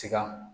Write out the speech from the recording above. Sika